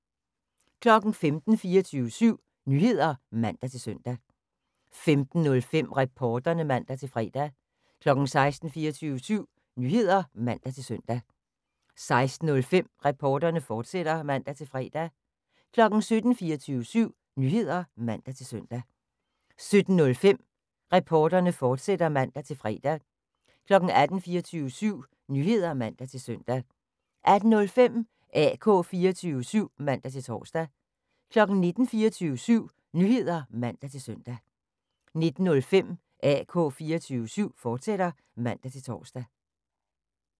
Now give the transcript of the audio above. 15:00: 24syv Nyheder (man-søn) 15:05: Reporterne (man-fre) 16:00: 24syv Nyheder (man-søn) 16:05: Reporterne, fortsat (man-fre) 17:00: 24syv Nyheder (man-søn) 17:05: Reporterne, fortsat (man-fre) 18:00: 24syv Nyheder (man-søn) 18:05: AK 24syv (man-tor) 19:00: 24syv Nyheder (man-søn) 19:05: AK 24syv, fortsat (man-tor)